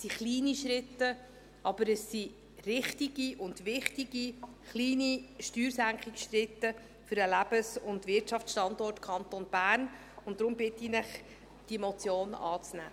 Es sind kleine Schritte, aber es sind richtige und wichtige kleine Steuersenkungsschritte für den Lebens- und Wirtschaftsstandort Kanton Bern, und daher bitte ich Sie, diese Motion anzunehmen.